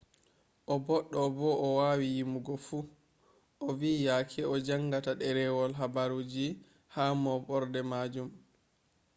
o boddo bo o wawi yimugo fu ovi yake o jangata derewol habaruji ha mooborde majum.